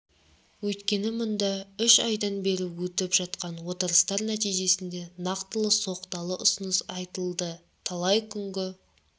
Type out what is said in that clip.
өйткені мұнда үш айдан бергі өтіп жатқан отырыстар нәтижесінде нақтылы соқталы ұсыныс айтылды талай күнгі